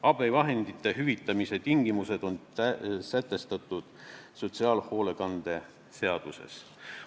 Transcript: Abivahendite hüvitamise tingimused on sätestatud sotsiaalhoolekande seaduses.